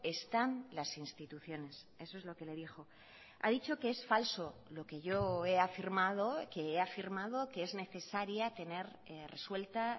están las instituciones eso es lo que le dijo ha dicho que es falso lo que yo he afirmado que he afirmado que es necesaria tener resuelta